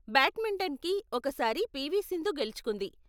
బ్యాడ్మింటన్కి, ఒక సారి పీ.వీ.సింధు గెలుచుకుంది.